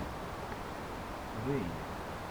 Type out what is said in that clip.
рэйли